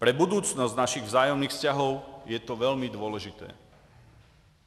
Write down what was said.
Pro budoucnost našich vzájemných vztahů je to velmi důležité.